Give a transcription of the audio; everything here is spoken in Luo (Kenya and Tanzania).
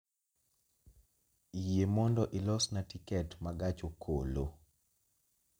Yie mondo ilosna tiket ma gach okolo